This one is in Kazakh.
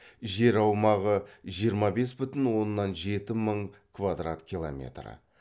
жер аумағы жиырма бес бүтін оннан жеті мың квадрат километр